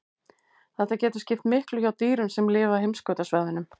Þetta getur skipt miklu hjá dýrum sem lifa á heimskautasvæðunum.